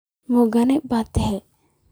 Ma agoon ba tahay?